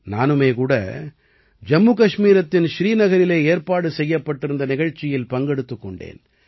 நானுமே கூட ஜம்மு கஷ்மீரத்தின் ஸ்ரீநகரில் ஏற்பாடு செய்யப்பட்டிருந்த நிகழ்ச்சியில் பங்கெடுத்துக் கொண்டேன்